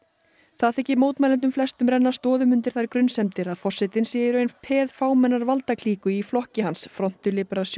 það þykir mótmælendum flestum renna stoðum undir þær grunsemdir að forsetinn sé í raun peð fámennrar valdaklíku í flokki hans front de